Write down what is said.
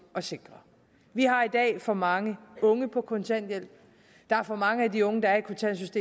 at sikre vi har i dag for mange unge på kontanthjælp der er for mange af de unge der er